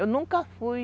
Eu nunca fui...